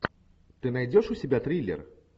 ты найдешь у себя триллер